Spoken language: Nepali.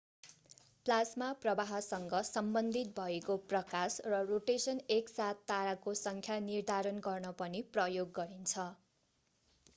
प्लाज्मा प्रवाहसँग सम्बन्धित भएको प्रकाश र रोटेशन एक साथ ताराको संख्या निर्धारण गर्न पनि प्रयोग गरिन्छ